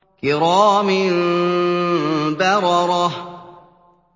كِرَامٍ بَرَرَةٍ